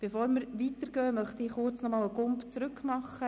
Bevor wir weiterfahren, möchte ich nochmals zurückspringen.